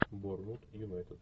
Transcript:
борнмут юнайтед